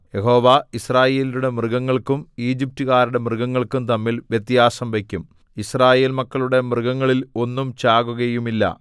യഹോവ യിസ്രായേല്യരുടെ മൃഗങ്ങൾക്കും ഈജിപ്റ്റുകാരുടെ മൃഗങ്ങൾക്കും തമ്മിൽ വ്യത്യാസം വയ്ക്കും യിസ്രായേൽ മക്കളുടെ മൃഗങ്ങളിൽ ഒന്നും ചാകുകയുമില്ല